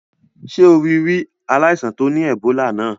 Sé o rí ri aláìsàn to ni Ebola náà?